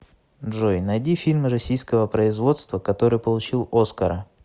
джой найди фильм российского производства который получил оскара